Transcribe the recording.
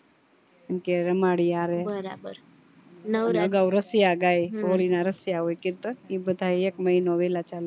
સુ કે રમાડીએ આવે અગાવ રસિયા ગાય હોળી ના રસિયા હોય કીર્તન બધાય એક મહિનો વેલા ચાલુ